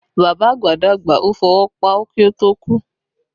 Bàbá àgbà dàgbà, ó fọwọ́ páú kí ó tó kú